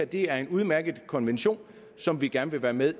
det her er en udmærket konvention som vi gerne vil være med